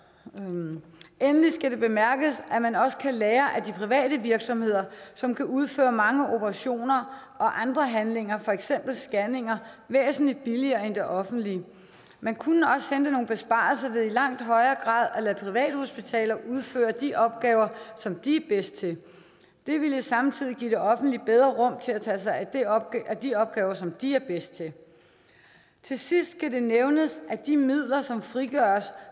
endelig skal det bemærkes at man også kan lære af de private virksomheder som kan udføre mange operationer og andre handlinger for eksempel scanninger væsentlig billigere end det offentlige man kunne også hente nogle besparelser ved i langt højere grad at lade privathospitaler udføre de opgaver som de er bedst til det ville samtidig give det offentlige bedre rum til at tage sig af de opgaver de opgaver som de er bedst til til sidst skal det nævnes at de midler som frigøres